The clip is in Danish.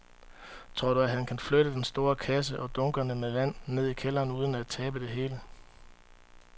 Tror du, at han kan flytte den store kasse og dunkene med vand ned i kælderen uden at tabe det hele?